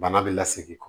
Bana bɛ lasegin kɔ